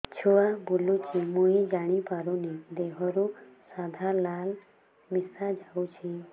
ଛୁଆ ବୁଲୁଚି ମୁଇ ଜାଣିପାରୁନି ଦେହରୁ ସାଧା ଲାଳ ମିଶା ଯାଉଚି